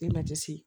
Ne ma jasi